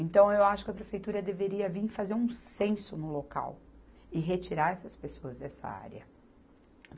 Então, eu acho que a prefeitura deveria vir fazer um censo no local e retirar essas pessoas dessa área.